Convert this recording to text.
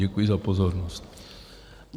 Děkuji za pozornost.